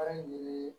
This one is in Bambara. Baara ye